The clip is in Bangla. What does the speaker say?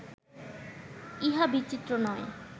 ইহা বিচিত্র নয়